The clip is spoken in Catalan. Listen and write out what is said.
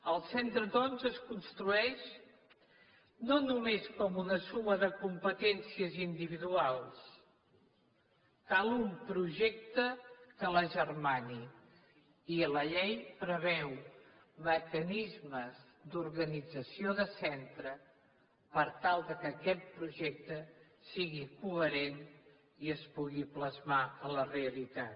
el centre doncs es construeix no només com una suma de competències individuals cal un projecte que l’agermani i la llei preveu mecanismes d’organització de centre per tal que aquest projecte sigui coherent i es pugui plasmar en la realitat